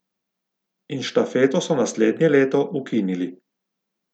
In štafeto so naslednje leto ukinili.